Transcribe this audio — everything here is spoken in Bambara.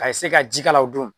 A ye se ka jikalalaw don.